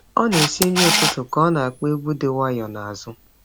Ọ na-esi nri ụtụtụ ka ọ na-akpọ egwu dị nwayọọ n’azụ.